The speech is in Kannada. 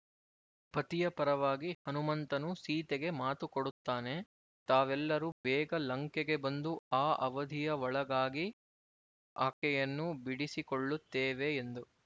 ಪತಿಯ ಪರವಾಗಿ ಹನುಮಂತನು ಸೀತೆಗೆ ಮಾತು ಕೊಡುತ್ತಾನೆತಾವೆಲ್ಲರೂ ಬೇಗ ಲಂಕೆಗೆ ಬಂದು ಆ ಅವಧಿಯ ಒಳಗಾಗಿ ಆಕೆಯನ್ನು ಬಿಡಿಸಿಕೊಳ್ಳುತ್ತೇವೆ ಎಂದು